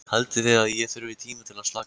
Haldið þið að ég þurfi tíma til að slaka á?